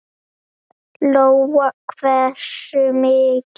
Lóa: Hversu mikil?